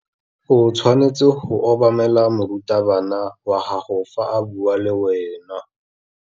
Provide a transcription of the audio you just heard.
O tshwanetse go obamela morutabana wa gago fa a bua le wena.